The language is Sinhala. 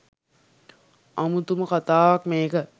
අමුතුම කථාවක් මේක.